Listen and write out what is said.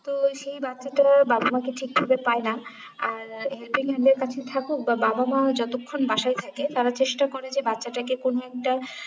তো সেই বাচ্ছাটা বাবা মাকে ঠিক ভাবে পায়ে না আর helping hand এর কাছে থাকুক বা বাবা মা যতক্ষণ বাসায় থাকে তারা চেষ্টা করে যে বাচ্ছাটাকে কোনো একটা